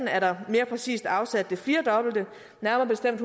er der mere præcist afsat det firedobbelte nærmere bestemt